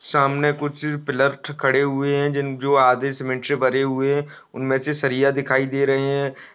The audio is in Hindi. सामने कुछ पिलर खड़े हुए हैं जो आधे सीमेंट से भरे हुए हैं उनमें से सरिया दिखाई दे रहे हैं।